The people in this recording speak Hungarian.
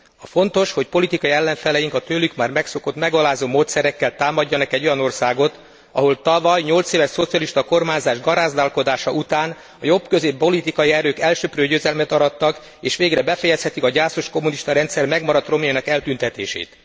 A fontos, hogy politikai ellenfeleink a tőlük már megszokott megalázó módszerekkel támadjanak egy olyan országot, ahol tavaly 8 éves szocialista kormányzás garázdálkodása után a jobbközép politikai erők elsöprő győzelmet arattak és végre befejezhetik a gyászos kommunista rendszer megmaradt romjainak eltűntetését.